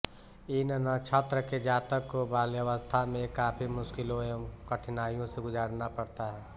इन नक्षत्र के जातक को बाल्यावस्था में काफी मुश्किलों एवं कठिनाईयों से गुजरना पड़ता है